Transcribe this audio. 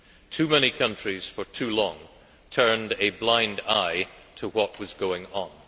Too many countries for too long turned a blind eye to what was going on.